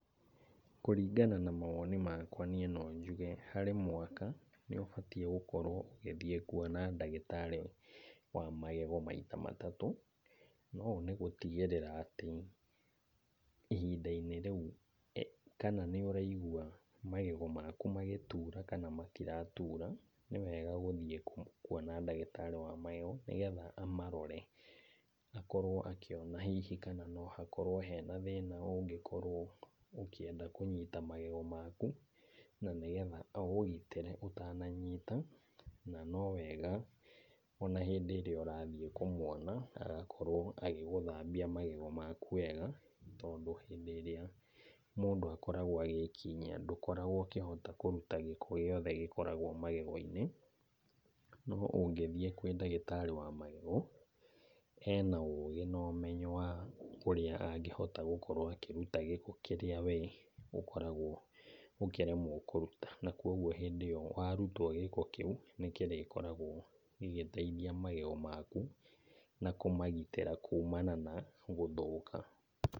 Kũringana na mawoni makwa, niĩ no njuge harĩ mwaka , nĩ ũbatiĩ gũthiĩ kuona ndagĩtarĩ wa magego maita matatũ, na ũũ nĩgũtigĩrĩra atĩ ihinda-inĩ rĩu kana nĩ ũraigwa magego maku magĩtura kana matiratura , nĩwega gũthiĩ kuona ndagĩtarĩ wa magego, nĩgetha amarore , akorwo akĩona hihi kana no hakorwo hena thĩna ũngĩkorwo ũkĩenda kũnyita magego maku, na nĩgetha aũgitĩre ũtananyita ,na nowega rĩrĩa ũrathiĩ kũmwona agakorwo agĩgũthambia magego maku wega, tondũ hĩndĩ ĩrĩa mũndũ akoragwo agĩkinyia ndũhotaga kũruta gĩko gĩothe gĩkoragwo magego-inĩ, no ũngĩthiĩ kwĩ ndagĩtarĩ wa magego, ena ũgĩ na ũmenyo wa ũrĩa angĩhota gũkorwo akĩruta gĩko kĩrĩa we ũkoragwo ũkĩremwo kũruta, na kogwo hĩndĩ ĩyo warutwo gĩko kĩu, nĩgĩkoragwo gĩgĩteithia magego maku na kũmagĩtira kumana na gũthũka.